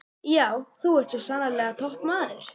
Já, þú ert svo sannarlega toppmaður!